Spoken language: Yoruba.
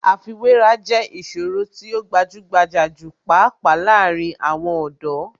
Àfiwéra jẹ́ ìṣòro tí ó gbajúgbajà jù pàápàá láàárín àwọn ọ̀dọ́.